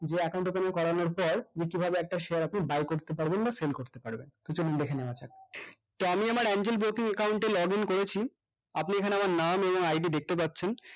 যে account open করানোর পর যে কিভাবে একটা share আপনি buy করতে পারবেন বা sell করতে পারবেন so চলুন দেখে নেওয়া যাক তো আমি আমার account এ login করেছি আপনি এখানে আমার নাম এবং ID দেখতে পাচ্ছেন